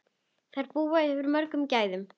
Þær búa yfir mörgum gæðum.